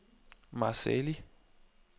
Marseilles